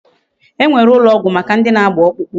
E nwere ulo ogwu Maka ndi ana agba okpukpu